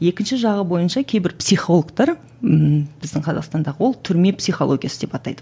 екінші жағы бойынша кейбір психологтар ммм біздің қазақстандағы ол түрме психологиясы деп атайды